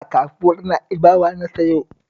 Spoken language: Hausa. A kasuwar Na'ibawa na sayo